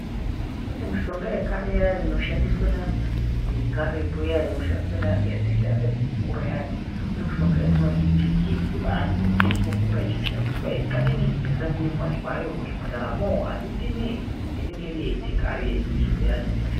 Kune mishonga yekare iyani inoshandiswa naantu vekaretu iyani yatashandisa tichikura iyani yatinoti yechiantu yatinokura tichishandisa isingadini isinganyanyikuwanikwa hayo muzvipataramo inenge iri yechikare yedu antu isusu yatoshandisa.